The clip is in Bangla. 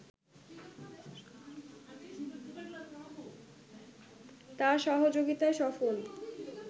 তার সহযোগিতায় সফল